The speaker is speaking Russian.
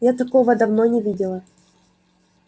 я такого давно не видела